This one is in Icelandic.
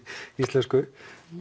íslensku